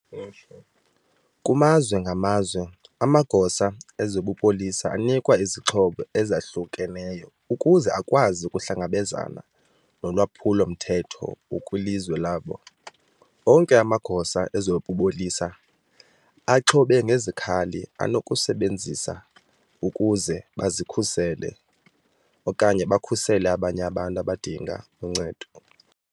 Kumazwe ngamazwe, amagosa ezobupolisa anikwa izixhobo ezahlukeneyo ukuze akwazi ukuhlangabezana nolwaphulo mthetho okwilizwe labo. Onke amagosa ezobupolisa axhobe ngezikhali anokuzisebenzisa ukuze bazikhusele okanye bakhusele abanye abantu abadinga uncedo.